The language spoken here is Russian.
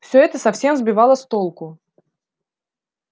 всё это совсем сбивало с толку